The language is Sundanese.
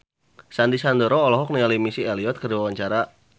Sandy Sandoro olohok ningali Missy Elliott keur diwawancara